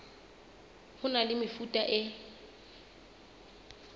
ho na le mefuta e